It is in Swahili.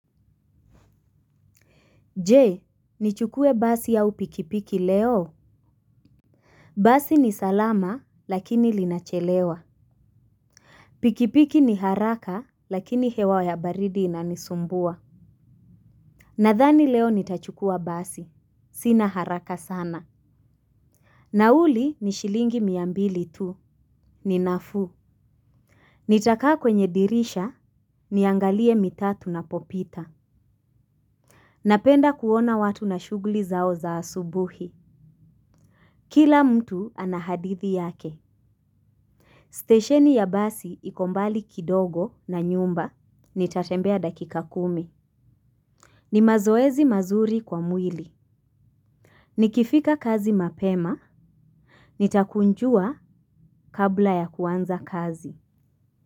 Je nichukue basi aa pikipiki leo. Basi ni salama lakini linachelewa. Pikipiki ni haraka lakini hewa ya baridi inanisumbua. Nadhani leo nitachukua basi sina haraka sana. Nauli ni shilingi miambili tu ni nafuu. Nitakaa kwenye dirisha niangalie mitaa tunapopita. Napenda kuona watu na shughuli zao za asubuhi. Kila mtu ana hadithi yake Station ya basi iko mbali kidogo na nyumba nitatembea dakika kumi. Ni mazoezi mazuri kwa mwili. Nikifika kazi mapema. Nitakunjua kabla ya kuanza kazi.